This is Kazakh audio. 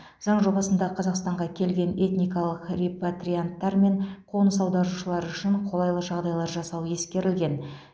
заң жобасында қазақстанға келген этникалық репатрианттар мен қоныс аударушылар үшін қолайлы жағдайлар жасау ескерілген